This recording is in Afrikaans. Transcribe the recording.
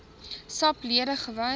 sap lede gewees